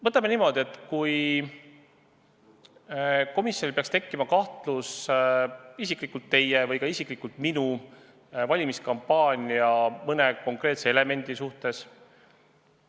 Võtame niimoodi: oletame, et komisjonil peaks tekkima kahtlus isiklikult teie või isiklikult minu valimiskampaania mõne konkreetse elemendi suhtes.